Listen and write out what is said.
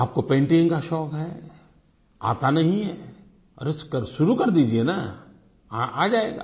आप को पेंटिंग का शौक है आता नही है अरे तो शुरू कर दीजिये ना आ जायेगा